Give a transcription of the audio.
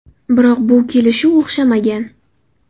Biroq bu kelishuv o‘xshamagan.